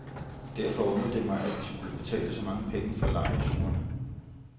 Derfor undrede det mig, at vi skulle betale så mange penge for lejrturene.